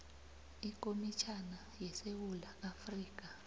ikomitjhana yesewula afrika